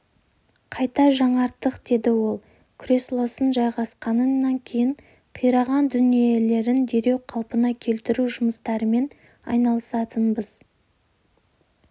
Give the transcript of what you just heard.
қайта жаңарттық деді ол креслосына жайғасқынан кейін қираған дүниелерін дереу қалпына келтіру жұмыстарымен айналысатынбыз